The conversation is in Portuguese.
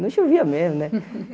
Não chovia mesmo, né?